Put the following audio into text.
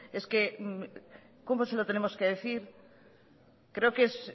es que cómo se lo tenemos que decir creo que es